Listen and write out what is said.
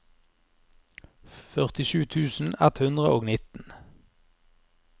førtisju tusen ett hundre og nitten